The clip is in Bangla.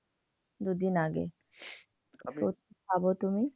দুইদিন আগে ভাবো তুমি।